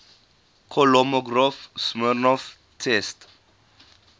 kolmogorov smirnov test